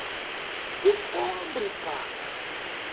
que o pobre paga?